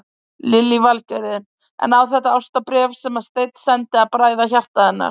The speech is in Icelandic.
Lillý Valgerður: En á þetta ástarbréf sem að Steinn sendi að bræða hjarta hennar?